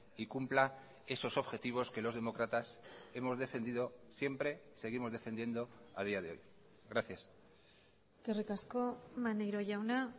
y cumpla esos objetivos que los demócratas hemos defendido siempre seguimos defendiendo a día de hoy gracias eskerrik asko maneiro jauna